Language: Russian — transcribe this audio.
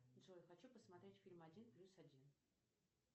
джой хочу посмотреть фильм один плюс один